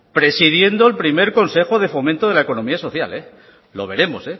presidiendo el primero consejo de fomento de la economía social lo veremos